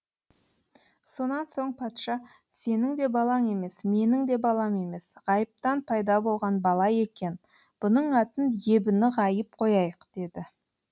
сонан соң патша сенің де балаң емес менің де балам емес ғайыптан пайда болған бала екен бұның атын ебіні ғайып қояйық деді